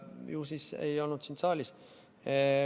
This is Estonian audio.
Ju siis sind ei olnud saalis.